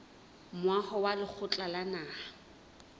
moaho wa lekgotla la naha